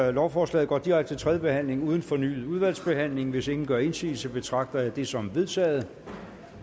at lovforslaget går direkte til tredje behandling uden fornyet udvalgsbehandling hvis ingen gør indsigelse betragter jeg det som vedtaget